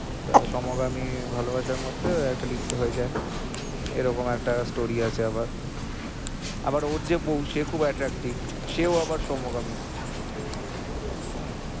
তো সমগামী ভালোবাসার মধ্যে একটা লিপ্ত হয়ে যায় এরকম একটা story হয়ে যায় এরকম একটা story আছে আবার আবার ওর যে বউ সে খুব attractive সেও আবার সমগামী হুম